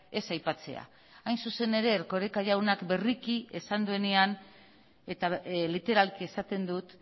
ez aipatzea hain zuzen ere erkoreka jaunak berriki esan duenean eta literalki esaten dut